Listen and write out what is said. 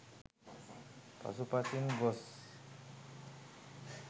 පසු පසින් ගොස්